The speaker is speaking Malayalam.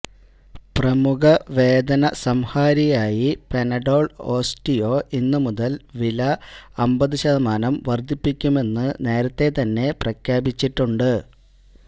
പ്രമുഖ വേദന സംഹാരിയായി പനാഡോൾ ഓസ്റ്റിയോ ഇന്ന് മുതൽ വില അമ്പത് ശതമാനം വർദ്ധിപ്പിക്കുമെന്ന് നേരത്തെ തന്നെ പ്രഖ്യാപിച്ചിട്ടുണ്ട്